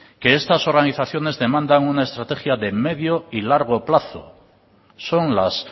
que estas organizaciones demandan una estrategia de largo y medio plazo son las